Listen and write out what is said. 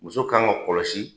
Muso kan ka kɔlɔsi